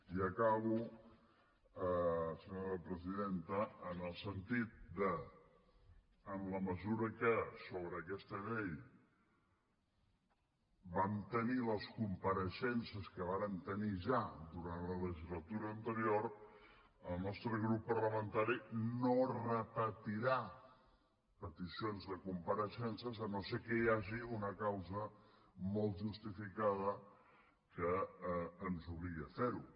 i acabo senyora presidenta en el sentit que en la mesura que sobre aquesta llei vam tenir les compareixences que vàrem tenir ja durant la legislatura anterior el nostre grup parlamentari no repetirà peticions de compareixences llevat que hi hagi una causa molt justificada que ens obligui a ferho